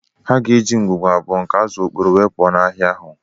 Ha ga-eji ngwugwu abụọ nke azụ okporoo wee pụọ na-ahịa ahụ